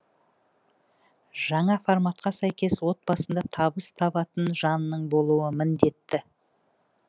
жаңа форматқа сәйкес отбасында табыс табатын жанның болуы міндетті